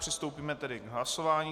Přistoupíme tedy k hlasování.